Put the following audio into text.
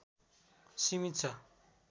सीमित छ